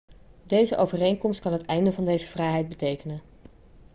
deze overeenkomst kan het einde van deze vrijheid betekenen